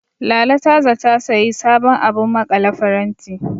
Lala ta zata sayi sabon abun maƙale faranti.